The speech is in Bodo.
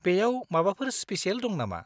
बेयाव माबाफोर स्पेसियेल दं नामा?